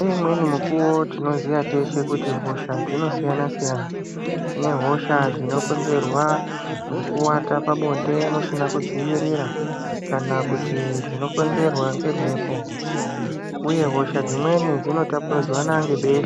Pane imweni mikuwo tinoziya teshe kuti hosha dzinosiyana siyana. Kune hosha dzinokonzerwa ngekuwata pabonde musina kudziwirira kana kuti dzinokonzerwa ngemhepo, uye hosha dzimweni dzinotapuridzanwa ngebesha.